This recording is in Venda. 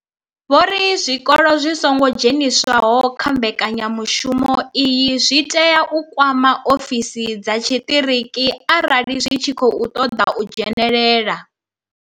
Vho ri zwikolo zwi songo dzheniswaho kha mbekanya mushumo iyi zwi tea u kwama ofisi dza tshiṱiriki arali zwi tshi khou ṱoḓa u dzhenela.